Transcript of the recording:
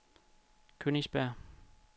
Königsberg